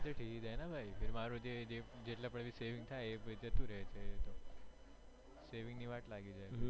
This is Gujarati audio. મારું જે saving થાય એ જતું રે છે saving ની વાટ લાગી જાય છે